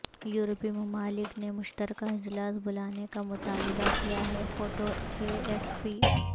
یورپی ممالک نے مشترکہ اجلاس بلانے کا مطالبہ کیا ہے فوٹو اے ایف پی